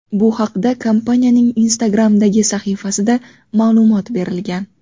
Bu haqda kompaniyaning Instagram’dagi sahifasida ma’lumot berilgan .